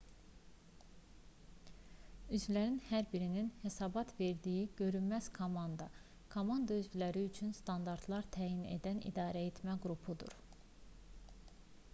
üzvlərin hər birinin hesabat verdiyi görünməz komanda komanda üzvləri üçün standartlar təyin edən idarəetmə qrupudur